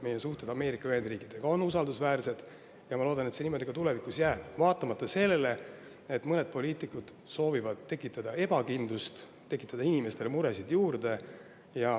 Meie suhted Ameerika Ühendriikidega on usaldusväärsed ja ma loodan, et see niimoodi ka tulevikus jääb, vaatamata sellele, et mõned poliitikud soovivad tekitada ebakindlust, tekitada inimestele muresid juurde.